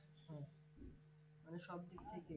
মানে সবদিক থেকে